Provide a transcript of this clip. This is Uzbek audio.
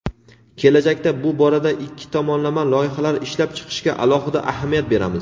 kelajakda bu borada ikki tomonlama loyihalar ishlab chiqishga alohida ahamiyat beramiz.